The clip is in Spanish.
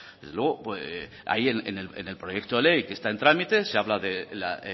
desde luego ahí en el proyecto de ley que está en trámite se habla de la